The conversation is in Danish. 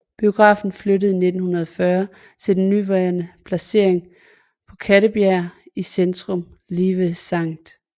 Biografen flyttede i 1940 til den nuværende placering på Kattebjerg i centrum lige ved Skt